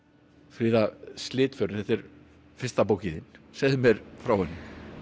fríða Slitförin þetta er fyrsta bókin þín segðu mér frá henni